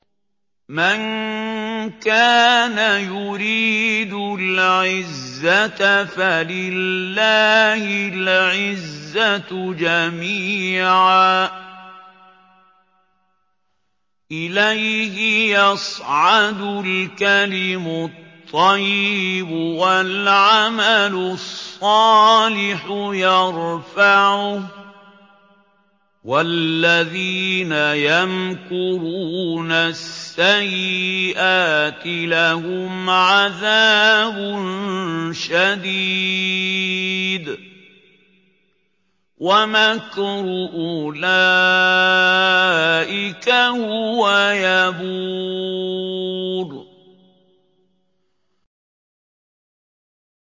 مَن كَانَ يُرِيدُ الْعِزَّةَ فَلِلَّهِ الْعِزَّةُ جَمِيعًا ۚ إِلَيْهِ يَصْعَدُ الْكَلِمُ الطَّيِّبُ وَالْعَمَلُ الصَّالِحُ يَرْفَعُهُ ۚ وَالَّذِينَ يَمْكُرُونَ السَّيِّئَاتِ لَهُمْ عَذَابٌ شَدِيدٌ ۖ وَمَكْرُ أُولَٰئِكَ هُوَ يَبُورُ